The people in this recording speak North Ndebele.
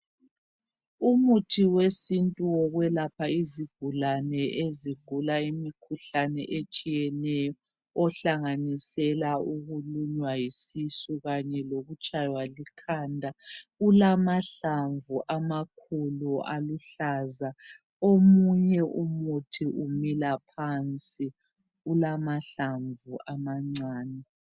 Umuthi wesintu wokwelapha izigulane ezigula imikhuhlane etshiyeneyo ohlanganisela ukulunywa yisisu kanye lokutshaywa likhanda ulamahlamvu amakhulu aluhlaza omunye umuthi umila phansi ulamahlamvu amancane.